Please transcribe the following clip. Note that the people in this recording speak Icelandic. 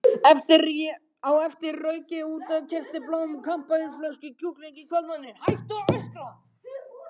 Á eftir rauk ég út, keypti blóm, kampavínsflösku og kjúkling í kvöldmatinn.